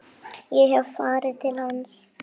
Ég hef farið til hans.